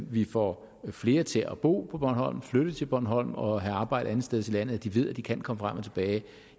vi får flere til at bo på bornholm flytte til bornholm og have arbejde andetsteds i landet altså at de ved at de kan komme frem og tilbage